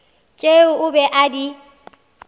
tšeo o be a di